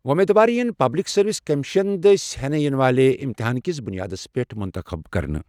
وۄمید وار یِن پبلِک سٔروِس کٔمِشن دٔسۍ ہٮ۪نہٕ یِنہٕ والہِ اِمتِحانکِس بُنیادس پٮ۪ٹھ مُنتخٕب کرنہٕ